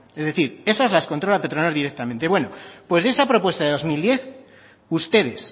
es decir esas las controla petronor directamente bueno pues de esa propuesta de dos mil diez ustedes